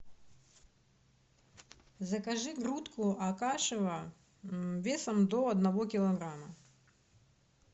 закажи грудку акашево весом до одного килограмма